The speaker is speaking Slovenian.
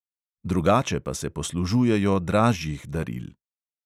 Drugače pa se poslužujejo dražjih daril.